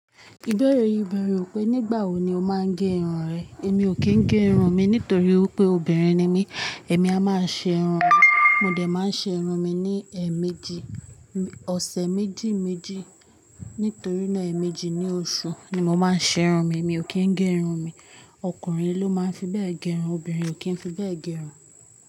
Ìbẹ̀rẹ̀ yìí bẹ̀rẹ̀ ò pé nígbà wo ni o máa ń gé irun rẹ. Èmi ò kí ń gé irun mi nítorí pé obìnrin ni mí. Èmi a máa ṣe irun mi. Mo dẹ̀ máa ṣe irun mi ní ẹ̀ẹ̀méjì, ọ̀sẹ̀ méjì méjì. Nítorí náà, èẹ̀méjì ní oṣùú ni mo máa ṣe irun mi. Èmi ò kí ń gé irun mi. Ọkùnrin ló máa ń fi bẹ́ẹ̀ gé irun, obìnrin ò kí ń fi bẹ́ẹ̀ gé irun.